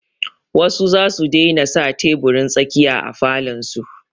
Wasu za su daina sa teburin tsakiya a falon su.